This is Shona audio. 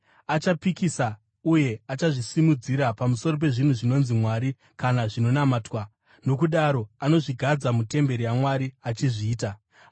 Achapikisa uye achazvisimudzira pamusoro pezvinhu zvinonzi Mwari kana zvinonamatwa, nokudaro anozvigadza mutemberi yaMwari achizviita Mwari.